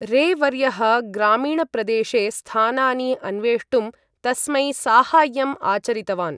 रे वर्यः ग्रामीणप्रदेशे स्थानानि अन्वेष्टुं तस्मै साहाय्यम् आचरितवान्।